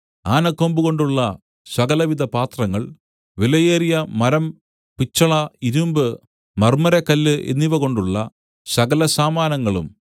ആനക്കൊമ്പുകൊണ്ടുള്ള സകലവിധ പാത്രങ്ങൾ വിലയേറിയ മരം പിച്ചള ഇരുമ്പ് മർമ്മരക്കല്ല് എന്നിവകൊണ്ടുള്ള സകല സാമാനങ്ങളും